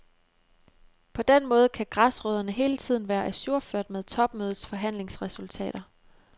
På den måde kan græsrødderne hele tiden være ajourført med topmødets forhandlingsresultater.